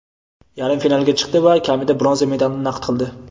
yarim finalga chiqdi va kamida bronza medalni naqd qildi.